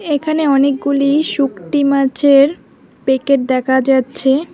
এখানে অনেকগুলি শুকটি মাছের পেকেট দেখা যাচ্ছে।